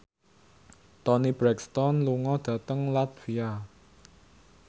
Toni Brexton lunga dhateng latvia